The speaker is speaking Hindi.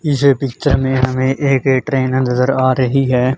इस पिक्चर में हमें एक ट्रेनर अंदर आ रही है।